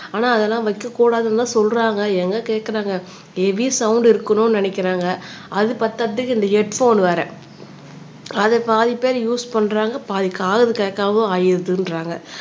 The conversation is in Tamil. ஆனால் அதெல்லாம் வைக்கக்கூடாதுன்னுதான் சொல்றாங்க எங்க கேக்குறாங்க ஹெவி சவுண்ட் இருக்கணும்ன்னு நினைக்கிறாங்க அது பத்தாததுக்கு இந்த ஹெட் போன் வேற அதை பாதி பேரு யூஸ் பண்றாங்க பாதி காது கேட்காம ஆயிருதுன்றாங்க